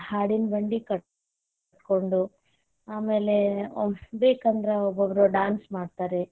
ಹಾಡಿನ ಬಂಡಿ ಕಟ್ಟ ಕೊಂಡು ಆಮೇಲೆ ಬೇಕಂದ್ರ ಒಬ್ಬೊಬ್ರು dance ಮಾಡ್ತಾರೆ.